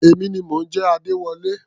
Èmi ni mò ń jẹ́ Adéwọlé.